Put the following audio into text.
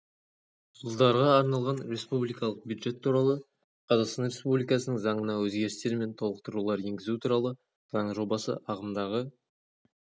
жылдарға арналған республикалық бюджет туралы қазақстан республикасының заңына өзгерістер мен толықтырулар енгізу туралы заң жобасы ағымдағы